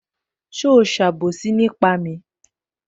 Ṣé o ṣe àbòsí nípa mi?